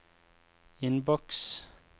innboks